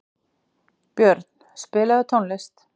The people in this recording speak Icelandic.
Björn, spilaðu tónlist.